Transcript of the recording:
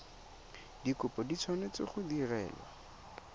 dikopo di tshwanetse go direlwa